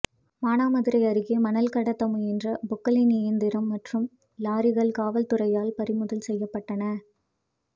மானாமதுரை அருகே மணல் கடத்த முயன்ற பொக்லைன் இயந்திரம் மற்றும் லாரிகள் காவல்துறையால் பறிமுதல் செய்யப்பட்டன